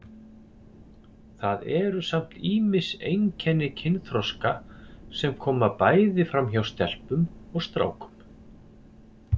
Það eru samt ýmis einkenni kynþroska sem koma bæði fram hjá stelpum og strákum.